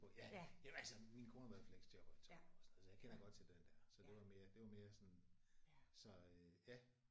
Ja jamen altså min kone har været fleksjobber i 12 år og sådan noget så jeg kender godt til den der så det var mere det var mere sådan